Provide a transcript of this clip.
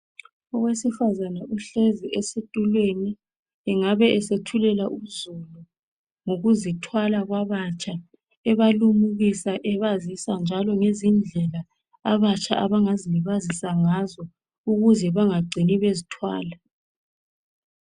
Owesifazana uhleli esitulweni. Engabe esethulela uzulu ngokuzithwala kwabatsha ebalimukisa ebazisa njalo izindlela abatsha abangazilibazisa ngazo ukuze bengacini bezithwala.